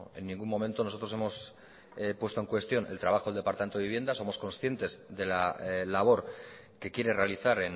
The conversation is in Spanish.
en ningún momento nosotros hemos puesto en cuestión el trabajo del departamento de viviendas somos conscientes de la labor que quiere realizar